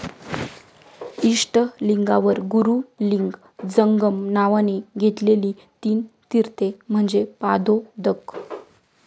इष्टलिंगावर गुरु लिंग जंगम नावानी घेतलेली तीन तीर्थे म्हणजे पादोदक